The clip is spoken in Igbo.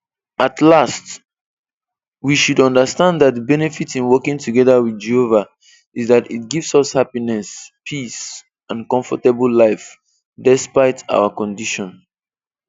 At last, we should understand that the benefit in working together with Jehova is that it gives us happiness, peace and comfortable life, despite our condition.